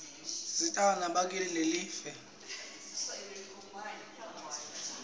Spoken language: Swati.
tisisita nakumisebenti yelive